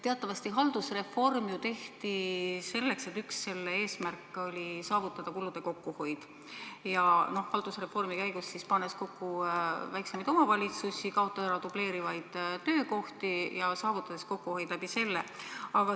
Teatavasti haldusreform tehti selleks, üks selle eesmärk oli saavutada kulude kokkuhoid: reformi käigus pannakse kokku väiksemad omavalitsused, kaotatakse ära dubleerivad töökohad ja saavutatakse selle abil kokkuhoid.